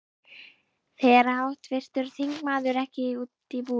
Fer háttvirtur þingmaður ekki út í búð?